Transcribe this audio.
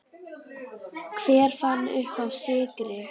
Hver fann uppá sykri?